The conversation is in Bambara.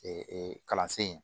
Ee kalansen in